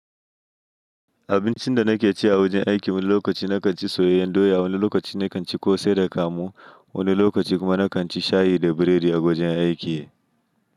Abincin da na ke ci a wajen aiki wani lokaci na kan ci soyayyen doya, wani lokaci na kan ci kose da kamu, wani lokaci kuma na kan ci shayi da burodi a wajen aiki.